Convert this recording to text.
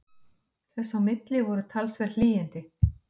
Þess á milli voru talsverð hlýindi